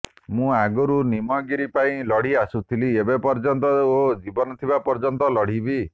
ମୁଁ ଆଗରୁ ନିମଗିରି ପାଇଁ ଲଢ଼ି ଆସୁଥିଲି ଏବେ ଲଢ଼ୁଛି ଓ ଜୀବନ ଥିବା ପର୍ଯ୍ୟନ୍ତ ଲଢ଼ିବି